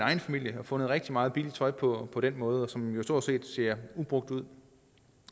familie og fundet rigtig meget billigt tøj på den måde som stort set ser ubrugt ud